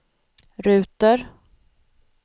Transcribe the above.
ruter